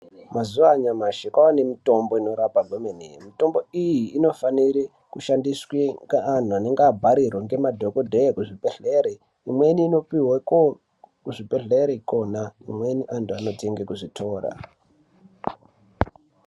Mazuva anyamashi kwave nemitombo inorape zvemene. Mitombo iyi inofanire kushandiswe ngeantu anenge abharirwa ngemadhogodheya kuzvibhedhlere, imweni inopiwe kuzvibhedhlera imweni antu anotenge kuzvitora.